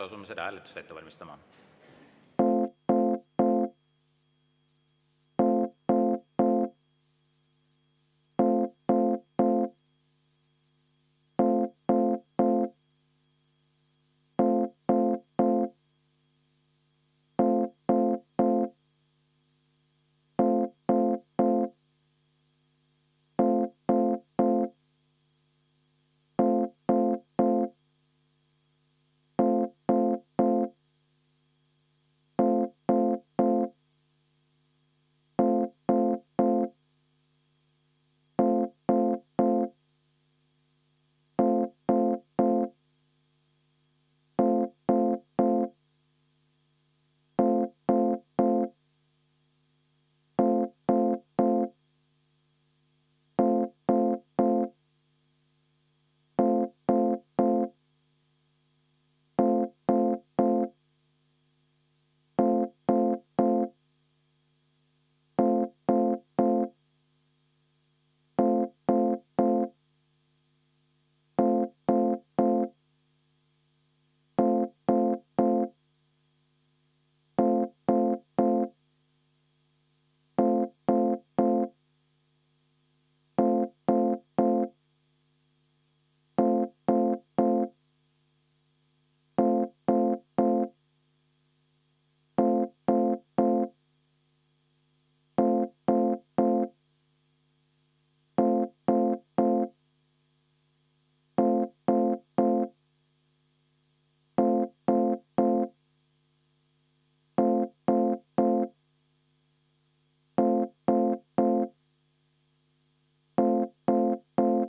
Asume seda hääletust ette valmistama.